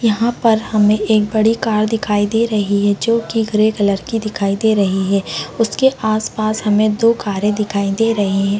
यहां पर हमे एक बड़ी कार दिखाई दे रही है जो की ग्रे कलर की दिखाई दे रही है उसके आस-पास हमे दो कारे दिखाई दे रही है।